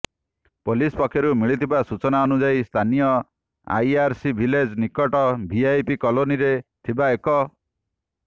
police ପକ୍ଷରୁ ମିଳିଥିବା ସୂଚନାନୁଯାୟୀ ସ୍ଥାନୀୟ ଆଇଆରସି ଭିଲେଜ ନିକଟ ଭିଆଇପି କଲୋନୀରେ ଥିବା ଏକ